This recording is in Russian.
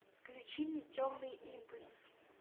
включи мне темный импульс